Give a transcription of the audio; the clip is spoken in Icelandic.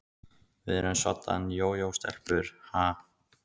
Við erum soddan jójó-stelpur, ha?